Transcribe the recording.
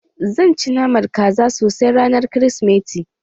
Zan ci naman kaza sosai ranar kirismeti